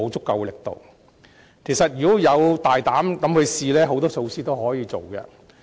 其實，只要我們大膽嘗試，有很多措施是可以推行的。